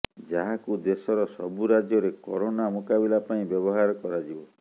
ଯାହାକୁ ଦେଶର ସବୁ ରାଜ୍ୟରେ କରୋନା ମୁକାବିଲା ପାଇଁ ବ୍ୟବହାର କରାଯିବ